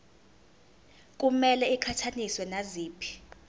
kumele iqhathaniswe naziphi